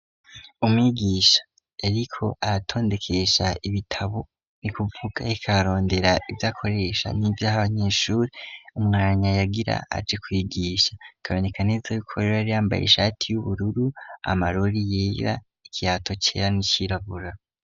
Umwigisha ariko aratondekesha ibitabo ni ukuvuga ariko arondera ivyakoresha n'ivyaha abanyeshuri umwanya yagira aje kuyigisha. Bikaboneka neza rero ko yari yambaye ishati y'ubururu, amarori yera, ikirato cera n'icirabura.